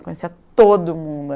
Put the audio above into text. Conhecia todo mundo.